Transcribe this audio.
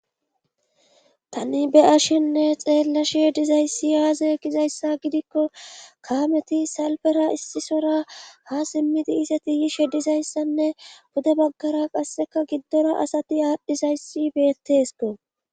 Tani be ashenne xeellashe dizayssi aazae gizayssa gidikko kaameti salfera issisora ha simmidi iseti yishe dizayssanne bude baggara qasseka giddora asati aadhdhizayssi beettesko